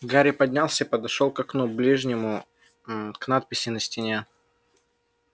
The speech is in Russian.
гарри поднялся и подошёл к окну ближнему мм к надписи на стене